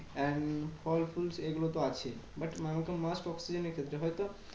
And ফল ফুল এগুলো তো আছেই। but must oxygen এর ক্ষেত্রে হয়তো